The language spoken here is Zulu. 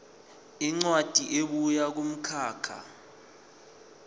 incwadi ebuya kumkhakha